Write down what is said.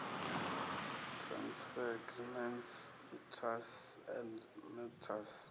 transfer agreements itas and mtas